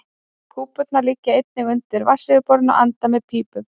Púpurnar liggja einnig undir vatnsyfirborðinu og anda með pípum.